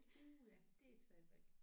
Uh ja det er et svært valg